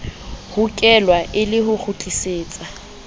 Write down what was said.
hokelwa e le ho kgutlisetsa